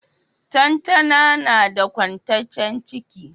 Lantana nada kwantaccen ciki